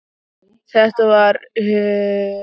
Þetta var hlýr og fallegur dagur, sól og blíða.